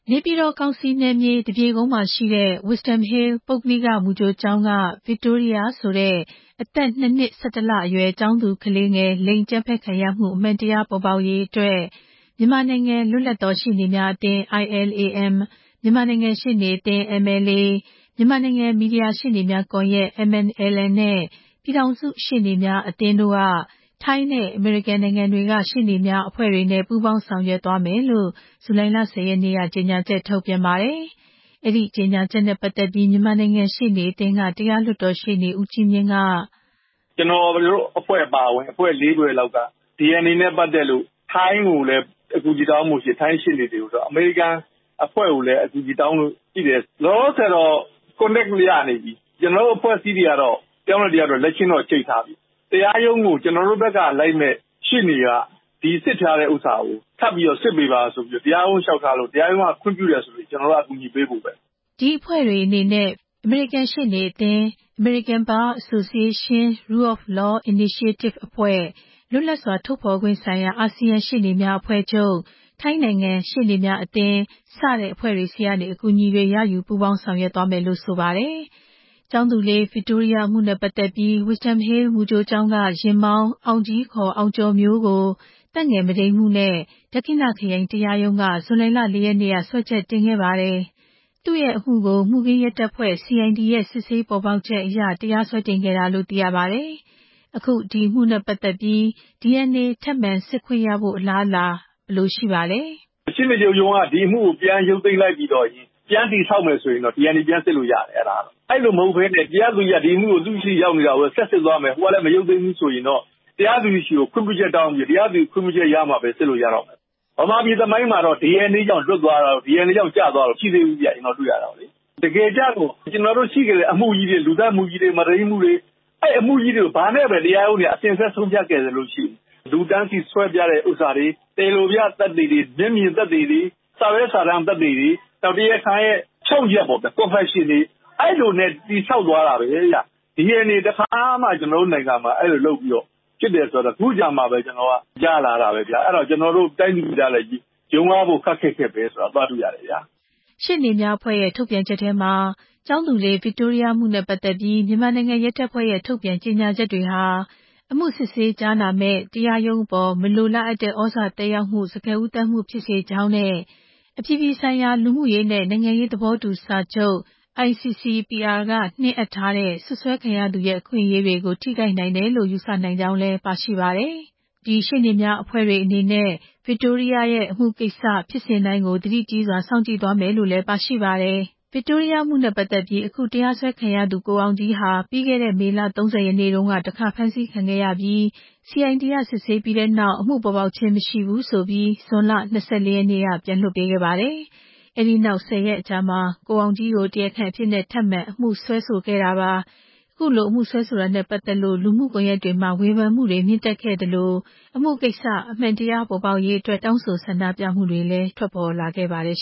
နေပြည်တော်ကောင်စီနယ်မြေ သပြေကုန်းမှာရှိတဲ့ Wisdom Hill ပုဂ္ဂလိက မူကြိုကျောင်းက Victoria ဆိုတဲ့ အသက် ၂ နှစ် ၁၁ လအရွယ် ကျောင်းသူကလေးငယ် လိင်အကြမ်းဖက်ခံရမှု အမှန်တရားပေါ်ပေါက်ရေးအတွက် မြန်မာနိုင်ငံ လွတ်လပ်သောရှေ့နေများအသင်း ILAM, မြန်မာနိုင်ငံရှေ့နေအသင်း MLA, မြန်မာနိုင်ငံ မီဒီယာရှေ့နေများကွန်ရက် MMLN နဲ့ ပြည်ထောင်စုရှေ့နေများအသင်းတို့က ထိုင်းနဲ့ အမေရိကန်က ရှေ့နေများအဖွဲ့တွေနဲ့ ပူးပေါင်းဆောင်ရွက်သွားမယ်လို့ ဇူလိုင်လ ၁ဝ ရက်နေ့က ကြေညာချက်ထုတ်ပြန်ပါတယ်။ အဲဒီကြေညာချက်နဲ့ပတ်သက်ပြီး မြန်မာနိုင်ငံရှေ့နေအသင်းက တရားလွှတ်တော်ရှေ့နေ ဦးကြီးမြင့်က…. “ကျနော်တို့အဖွဲ့အပါအဝင် အဖွဲ့ လေးဖွဲ့က DNA နဲ့ ပတ်သက်လို့ ထိုင်းကိုလည်း အကူအညီတောင်းဖို့ရှိတယ်။ ထိုင်းရှေ့နေတွေကို ၊ အမေရိကန်အဖွဲ့ကိုလည်း အကူအညီတောင်းဖို့ရှိတယ်။ လောလောဆယ်တော့ အဆက်ရနေပြီ။ တရားရုံးဘက်ကို ကျနော်တို့ဘက်က လိုက်မယ့်ရှေ့နေက ဒီစစ်ထားတဲ့ဥစ္စာကို ထပ်ပြီးစစ်ပေးပါလို့ တရားရုံးကိုလျှောက်ထားလို့ တရားရုံးကခွင့်ပြုရင် ကျနော်တို့က ကူညီပေးဖို့ပဲ ” ဒီအဖွဲ့တွေအနေနဲ့ Victoria အမှု DNA ကိစ္စနဲ့ပတ်သက်ပြီး အမေရိကန်ရှေ့နေအသင်း American Bar Association – Rule of Law Initiative အဖွဲ့၊ လွတ်လပ်စွာထုတ်ဖော်ခွင့်ဆိုင်ရာ အာဆီယံရှေ့နေများ အဖွဲ့ချုပ်၊ ထိုင်းနိုင်ငံရှေ့နေများအသင်း စတဲ့ အဖွဲ့တွေဆီကနေ အကူအညီတွေ ရယူပူးပေါင်းဆောင်ရွက်သွားမှာလို့ ဆိုပါတယ်၊ ကျောင်းသူလေး Victoria အမှုနဲ့ပတ်သက်ပြီး Wisdom Hill မူကြိုကျောင်းက ယာဉ်မောင်း အောင်ကြီး ခေါ် အောင်ကျော်မျိုးကို သက်ငယ်မုဒိမ်းမှုနဲ့ ဒက္ခိဏခရိုင်တရားရုံးက ဇူလိုင်လ ၄ ရက်နေ့က စွဲချက်တင်ခဲ့ပါတယ်။ သူ့ရဲ့အမှုကို မှုခင်းရဲတပ်ဖွဲ့ CID ရဲ့စစ်ဆေးပေါ်ပေါက်ချက်အရ တရားစွဲတင်ခဲ့တာလို့သိရပါတယ်။ အခု ဒီအမှု DNA ထပ်ပြီးစစ်ခွင့်ရဖို့ အလားအလာနဲ့ပတ်သက်ပြီး ဦးကြီးမြင့်က…. “တရားစွဲအဖွဲ့အစည်းနဲ့ ပူးပေါင်းမှရမှာ။ ရှေ့နေချုပ်ရုံးက ဒီအမှုကို ပြန်ရုပ်သိမ်းလိုက်ပြီး အမှုပြန် တည်ဆောက်မယ်ဆိုရင် DNA ပြန်စစ်လို့ရမယ်။ အဲလိုမဟုတ်ဘဲ တရားသူကြီးက ဒီအမှုကို ဆက်စစ် သွားမယ်ဆိုရင် ဟိုကလည်း မရုပ်သိမ်းဘူးဆိုရင် တရားသူကြီးဆီကိုခွင့်ပြုချက်တောင်းပြီး တရားသူကြီးရဲ့ ခွင့်ပြုချက်ရမှ စစ်လို့ရမှာပေါ့နော်။ မြန်မာပြည်သမိုင်းမှာတော့ DNA ကြောင့် လွတ်သွားတာ၊ DNA ကြောင့် ကျသွားတာမရှိသေးဘူးပေါ့နော်။ ကျနော်တို့ရှိတဲ့ လူသတ်မှုကြီးတွေ မုဒိမ်းမှုကြီးတွေ အဲဒီအမှုကြီးတွေကို တရားရုံးက ဘာနဲ့အစဉ်အဆက် ဆုံးဖြတ်ခဲ့သလဲဆိုရင် လူတန်းစီဆွဲပြတဲ့ဟာတွေ၊ တရားလိုပြသက်သေတွေ၊ မျက်မြင်သက်သေတွေ၊ စာရွက်စာတမ်း သက်သေတွေ၊ တရားခံရဲ့ ဖြောင့်ချက် confession တွေ အဲလိုနဲ့တည်ဆောက်သွားတာပဲ။ DNA တခါမှ.. ကျနော်တို့နိုင်ငံမှာ အဲလိုလုပ်ပြီး ဖြစ်တယ်ဆိုတာ ခုမှကြားလာရတယ်။ ကျနော်တို့ တိုင်းသူပြည်သားတွေက ယုံရဖို့ ခပ်ခက်ခက်ပဲ ဆိုတာတွေ့ရတယ် ” ရှေ့နေများအဖွဲ့ရဲ့ ထုတ်ပြန်ချက်ထဲမှာ ကျောင်းသူလေး Victoria အမှုနဲ့ပတ်သက်ပြီး မြန်မာနိုင်ငံရဲတပ်ဖွဲ့ရဲ့ထုတ်ပြန်ကြေညာချက်တွေဟာ အမှုစစ်ဆေးကြားနာမယ့် တရားရုံးအပေါ် မလိုလားအပ်တဲ့ သြဇာသက်ရောက်မှု စကားဦးသန်းမှုဖြစ်စေသလို အပြည်ပြည်ဆိုင်ရာ လူမှုရေးနဲ့ နိုင်ငံရေးသဘောတူစာချုပ် ICCPR ရဲ့ စွပ်စွဲခံရသူတွေရဲ့ အခွင့်အရေးတွေကိုထိခိုက်နိုင်ကြောင်း ယူဆနိုင်တယ်လို့ ပါရှိပါတယ်။ ဒီရှေ့နေအဖွဲ့တွေအနေနဲ့ အမှုနဲ့ပတ်သက်ပြီး ဖြစ်စဉ်တိုင်းကို သတိကြီးစွာထား စောင့်ကြည့်သွားမယ်လို့ ဆိုပါတယ်။ ဗစ်တိုးရီးယားအမှုနဲ့ ပတ်သက်ပြီး အခုတရားစွဲခံရသူ ကိုအောင်ကြီးဟာ ပြီးခဲ့တဲ့ မေလ ၃ဝ ရက်နေ့တုန်းက တခါဖမ်းဆီးခံခဲ့ရပြီး CID က စစ်ဆေးပြီးတဲ့နောက် အမှုပေါ်ပေါက်ခြင်းမရှိဘူး ဆိုပြီး ဇွန်လ ၂၄ ရက်နေ့က ပြန်လွှတ်ပေးခဲ့ပါတယ်။ အဲဒီနောက် ၁ဝ ရက်အကြာ ကိုအောင်ကြီးကို တရားခံအဖြစ် ထပ်မံအမှုစွဲတာနဲ့ ပတ်သက်လို့ လူမှုကွန်ရက်တွေမှာ ဝေဖန်မှုတွေမြင့်တက်ခဲ့သလို အမှုကိစ္စ အမှန်တရားပေါ်ပေါက်ရေး တောင်းဆိုဆန္ဒပြမှုတွေလည်း ထွက်ပေါ်လာခဲ့ပါတယ်